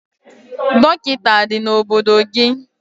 Dọkịta adị n'obodo gị?